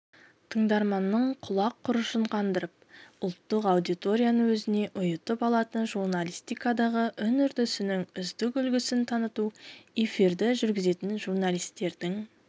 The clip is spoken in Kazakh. тыңдарманның құлақ құрышын қандырып ұлттық аудиторияны өзіне ұйытып алатын журналистикадағы үн-үрдісінің үздік үлгісін таныту эфирді жүргізетін журналистердің